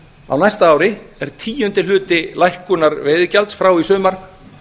á næsta ári er tíundi hluti lækkunar veiðigjalds frá í sumar